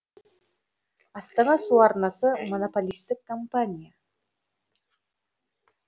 астана су арнасы монополистік компания